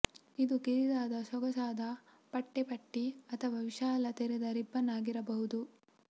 ಇದು ಕಿರಿದಾದ ಸೊಗಸಾದ ಪಟ್ಟೆ ಪಟ್ಟಿ ಅಥವಾ ವಿಶಾಲ ತೆರೆದ ರಿಬ್ಬನ್ ಆಗಿರಬಹುದು